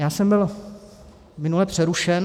Já jsem byl minule přerušen.